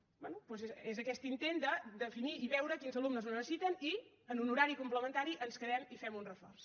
doncs és aquest intent de definir i veure quins alumnes el necessiten i en un horari complementari ens quedem i fem un reforç